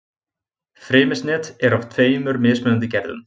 Frymisnet er af tveimur mismunandi gerðum.